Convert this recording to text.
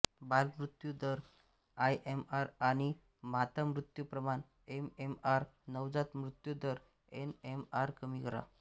बालमृत्यू दर आयएमआर आणि माता मृत्यू प्रमाण एमएमआर नवजात मृत्यु दर एनएमआर कमी करा